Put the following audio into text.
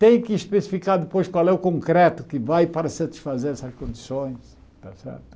Tem que especificar depois qual é o concreto que vai para satisfazer essas condições, está certo?